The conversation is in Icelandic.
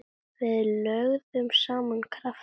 Við lögðum saman krafta okkar.